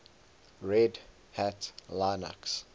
red hat linux